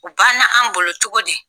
U ban na anw bolo cogo di?